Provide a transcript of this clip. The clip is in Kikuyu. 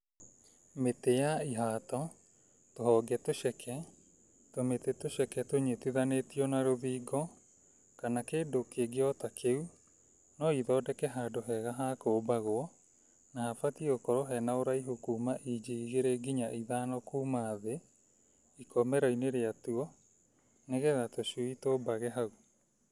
Mĩtĩ ya ihato, tũhonge tũceke, tũmĩtĩ tũceke tũnyitithanĩtio na rũthingo kana kĩndũ kĩngĩ o ta kĩu ,no ithondeke handũ hega ha kũmbagwo, na habatiĩ gũkorwo hena ũraihu kuma inji igĩrĩ nginya ithano kuma thĩ ikomero-inĩ rĩatuo nĩgetha tũcui tũmbage hau.